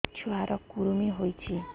ଛୁଆ ର କୁରୁମି ହୋଇଛି